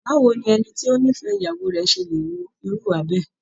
Báwo ni ẹni tó nífẹ̀ẹ́ ìyàwó rẹ̀ ṣe lè hu irú ìwà bẹ́ẹ̀?